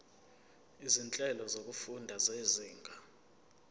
izinhlelo zokufunda zezinga